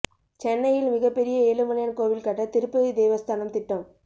சென்னையில் மிகப் பெரிய ஏழுமலையான் கோவில் கட்ட திருப்பதி தேவஸ்தானம் திட்டம்